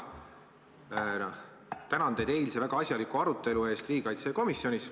Mina tänan teid eilse väga asjaliku arutelu eest riigikaitsekomisjonis.